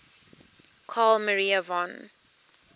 carl maria von